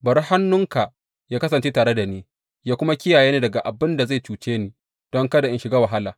Bari hannunka yă kasance tare da ni, yă kuma kiyaye ni daga abin da zai cuce ni, don kada in shiga wahala.